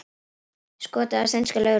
Skotið á sænska lögreglu